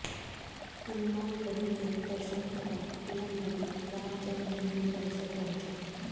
हनुमानगढ़ी के दर्शन के बाद पीएम मोदी रामजन्मभूमि परिसर पहुंचे